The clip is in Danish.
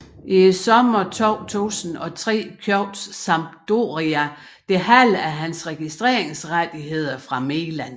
I sommeren 2003 købte Sampdoria det halve af hans registreringsrettigheder fra Milan